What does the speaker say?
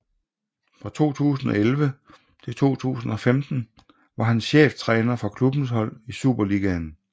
Fra 2011 til 2015 var han cheftræner for klubbens hold i Superligaen